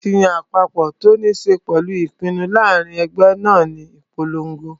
Akitiyan àpapọ̀ tó ní ṣe pẹ̀lú ṣiṣé ìpinnu láàrin ẹgbẹ́ náà ní ìponlogo